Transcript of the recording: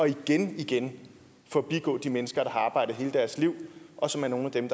igen igen forbigår de mennesker der har arbejdet hele deres liv og som er nogle af dem